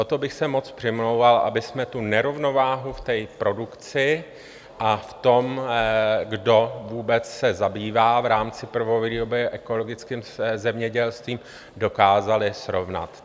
O to bych se moc přimlouval, abychom tu nerovnováhu v té produkci a v tom, kdo vůbec se zabývá v rámci prvovýroby ekologickým zemědělstvím, dokázali srovnat.